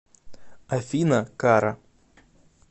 афина кара